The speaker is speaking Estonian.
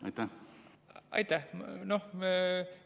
Aitäh!